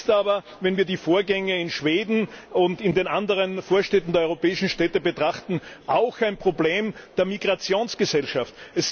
Es ist aber, wenn wir die Vorgänge in Schweden und in anderen Vorstädten europäischer Städte betrachten, auch ein Problem der Migrationsgesellschaft.